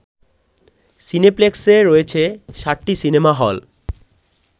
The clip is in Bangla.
সিনেপ্লেক্সে রয়েছে সাতটি সিনেমা হল